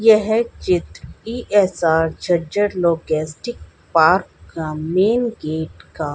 यह चित्र E S R Jhajjar logistic park का में गेट का--